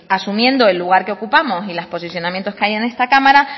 asumiendo el lugar que ocupamos y los posicionamientos que hay en esta cámara